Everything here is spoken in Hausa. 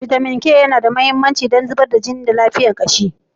Bitamin K yana da mahimmanci don zubar jini da lafiyar kashi.